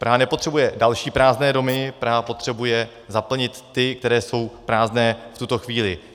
Praha nepotřebuje další prázdné domy, Praha potřebuje zaplnit ty, které jsou prázdné v tuto chvíli.